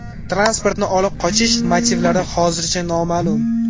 Transportni olib qochish motivlari hozircha noma’lum.